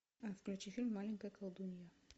включи фильм маленькая колдунья